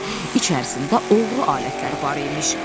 İçərisində oğru alətləri var imiş.